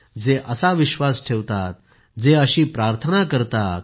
जे असा विश्वास ठेवतात जे अशी प्रार्थना करतात